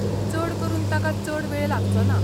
चड करून ताका चड वेळ लागचोना.